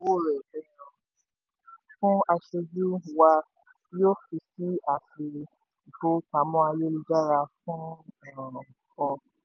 um fún aṣojú wá yóò fi sí àpò-ìfowópamọ́ ayélu-jára fún um ọ.